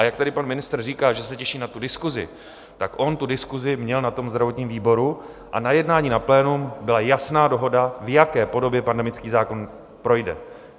A jak tady pan ministr říká, že se těší na tu diskusi, tak on tu diskusi měl na tom zdravotním výboru a na jednání na plénu byla jasná dohoda, v jaké podobě pandemický zákon projde.